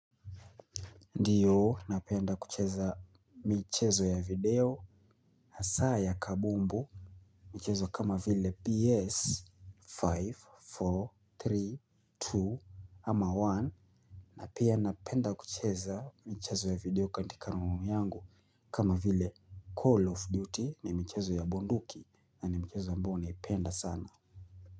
Ndiyo napenda kucheza michezo ya video hasa ya kabumbu michezo kama vile PS5 nne tatu mbili ama moja pia napenda kucheza michezo ya video katika room yangu, kama vile Call of Duty ni michezo ya bunduki, na ni michezo ambayo naipenda sana.